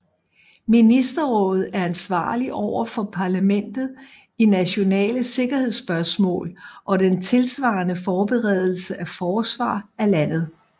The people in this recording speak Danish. Ministerrådet er ansvarligt over for parlamentet i nationale sikkerhedsspørgsmål og den tilsvarende forberedelse af forsvar af landet